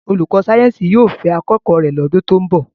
Olùkọ́ sáyẹ́ǹsì yóò fẹ́ akẹ́kọ̀ọ́ rẹ̀ lọ́dún tó ń bọ̀.